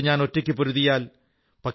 തബേ ഗോവിന്ദ് സിഹ് നാമ് കഹലാഊം